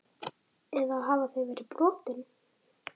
Eða hafa þau verið brotin?